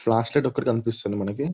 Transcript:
Flash light ఒక్కటి కనిపిస్తుంది మనకి.